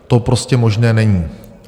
To prostě možné není.